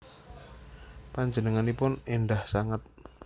Panjenenganipun endah sanget